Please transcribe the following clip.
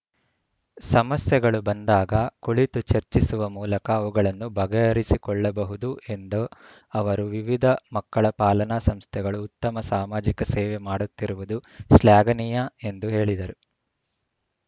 ಸಮಸ್ಯೆಗಳು ಬಂದಾಗ ಕುಳಿತು ಚರ್ಚಿಸುವ ಮೂಲಕ ಅವುಗಳನ್ನು ಬಗೆಹರಿಸಿಕೊಳ್ಳಬಹುದು ಎಂದ ಅವರು ವಿವಿಧ ಮಕ್ಕಳ ಪಾಲನಾ ಸಂಸ್ಥೆಗಳು ಉತ್ತಮ ಸಾಮಾಜಿಕ ಸೇವೆ ಮಾಡುತ್ತಿರುವುದು ಶ್ಲಾಘನೀಯ ಎಂದು ಹೇಳಿದರು